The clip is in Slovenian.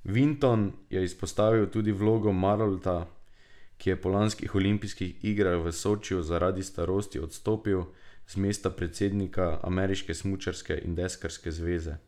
Vinton je izpostavil tudi vlogo Marolta, ki je po lanskih olimpijskih igrah v Sočiju zaradi starosti odstopil z mesta predsednika Ameriške smučarske in deskarske zveze.